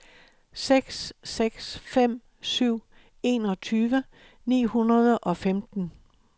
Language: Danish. seks seks fem syv enogtyve ni hundrede og femten